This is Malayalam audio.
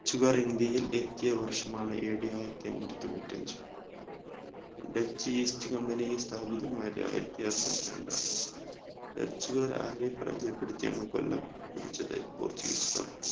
dutch ഉകാർ ഇന്ത്യയിൽ എത്തിയ വർഷമാണ് ad ആയിരത്തിഅ റ്റിഞ്ഞൂതൊണ്ണൂറ്റിഅഞ്ച് dutcheast company സ്ഥാപിതമായത് ആയിരത്തിഅറുന്നൂറ്റി രണ്ട്‍ ആണ് dutch കാർ ആരെ പരാചയപ്പെടുത്തിയാണ് കൊല്ലം പിടിച്ചത് dutch കാർ